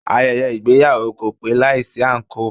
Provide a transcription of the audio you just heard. Ayẹyẹ ìgbéyàwó kò pé láìsí àǹkóò.